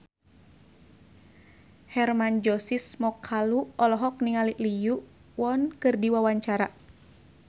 Hermann Josis Mokalu olohok ningali Lee Yo Won keur diwawancara